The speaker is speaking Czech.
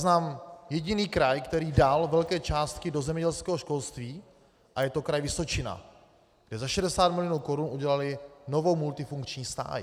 Znám jediný kraj, který dal velké částky do zemědělského školství, a je to Kraj Vysočina, kde za 60 milionů korun udělali novou multifunkční stáj.